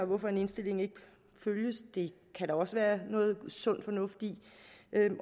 hvorfor en ligestilling ikke følges kan der også være noget sund fornuft i